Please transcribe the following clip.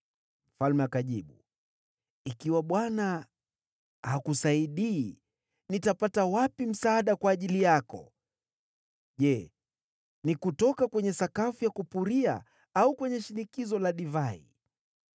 Mfalme akajibu, “Ikiwa Bwana hakusaidii, nitakutolea wapi msaada? Je, ni kutoka kwenye sakafu ya kupuria? Au kwenye shinikizo la divai?”